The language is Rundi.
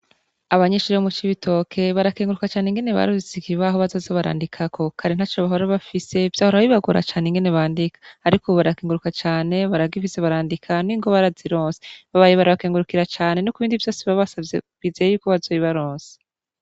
Abanyeshure bo mu Cibitoke barakenguruka cane ingene baronse ikibaho bazoza barandikako. Kare ntaco bahora bafise. Vyahora bibagora cane ingene bandika. Ariko ubu barakenguruka cane, baragifise barandika, n'ingwa barazironse. Babaye barabakengurukira cane no kubindi vyose babasavye, bizeye yuko bazobibaronsa.